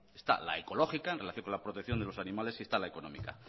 la ecológica en relación con la protección de los animales y está la económica